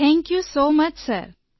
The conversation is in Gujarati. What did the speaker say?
thank you so much sir